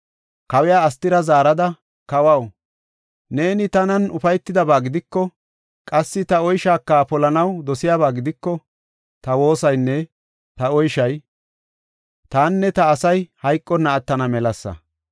Kawiya Astira zaarada, “Kawaw, neeni tanan ufaytidaba gidiko, qassi ta oyshaaka polanaw dosiyaba gidiko, ta woosaynne ta oyshay tanne ta asay hayqonna attana melasa.